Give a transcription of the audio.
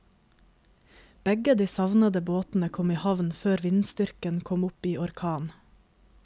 Begge de savnede båtene kom i havn før vindstyrken kom opp i orkan.